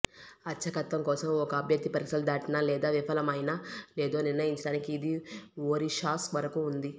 అర్చకత్వం కోసం ఒక అభ్యర్థి పరీక్షలు దాటినా లేదా విఫలమైనా లేదో నిర్ణయించడానికి ఇది ఒరిషాస్ వరకు ఉంది